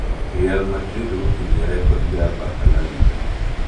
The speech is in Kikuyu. Real Madrid gũkinyia rekondi ya Barca La Liga